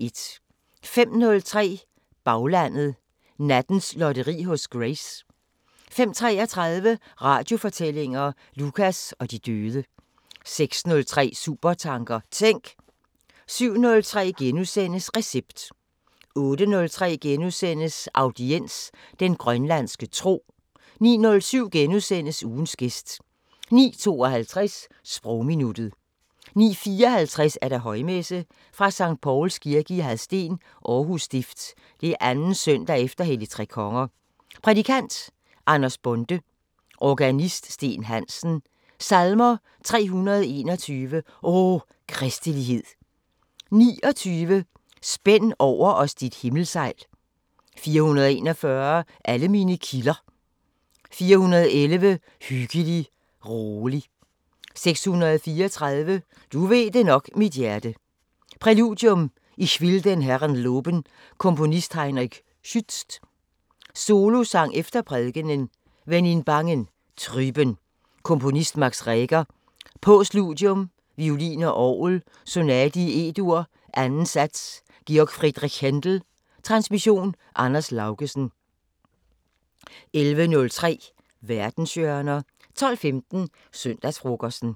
05:03: Baglandet: Nattens lotteri hos Grace 05:33: Radiofortællinger: Lukas og de døde 06:03: Supertanker: Tænk! 07:03: Recept * 08:03: Audiens: Den grønlandske tro * 09:07: Ugens gæst * 09:52: Sprogminuttet 09:54: Højmesse - Sct. Pauls Kirke, Hadsten. Aarhus Stift. 2. søndag efter Helligtrekonger. Prædikant: Anders Bonde. Organist: Steen Hansen. Salmer: 321: "O, kristelighed" 29: "spænd over os dit himmelsejl" 441: "Alle mine kilder" 411: "Hyggelig, rolig" 634: "Du ved det nok, mit hjerte" Præludium: "Ich will den Herren loben" Komponist: Heinrich Schütz. Solosang efter prædikenen: "Wenn in bangen, trüben" Komponist: Max Reger. Postludium: Violin og orgel: Sonate i E-dur, 2. sats G. F. Händel. Transmission: Anders Laugesen. 11:03: Verdenshjørner 12:15: Søndagsfrokosten